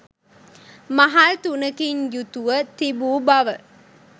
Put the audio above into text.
මහල් තුනකින් යුතුව තිබූ බව